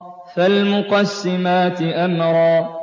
فَالْمُقَسِّمَاتِ أَمْرًا